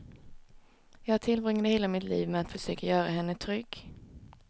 Jag tillbringade hela mitt liv med att försöka göra henne trygg.